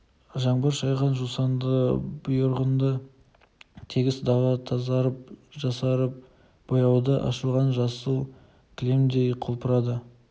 жаңбыр шайған жусанды бұйырғынды тегіс дала тазарып жасарып бояуы ашылған жасыл кілемдей құлпырады